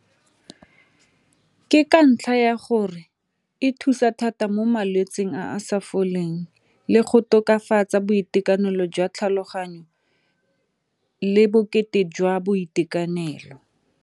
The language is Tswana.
Ke ka ntlha ya gore e thusa thata mo malwetsing a sa foleng le go tokafatsa boitekanelo jwa tlhaloganyo le bokete jwa boitekanelo.